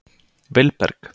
Vilberg